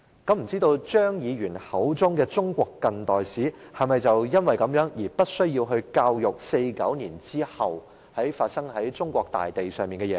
我不知道張議員口中的"中國近代史"，是否因而無須教授1949年後在中國大地上發生的事情？